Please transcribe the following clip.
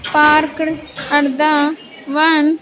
Parked at the one --